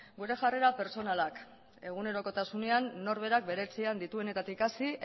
gure jarrera pertsonalak egunerokotasunean norberak bere etxean dituenetatik hasi